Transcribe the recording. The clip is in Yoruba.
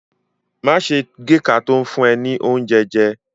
Má ṣe géka tó ń fún ẹ ní oúnjẹ jẹ.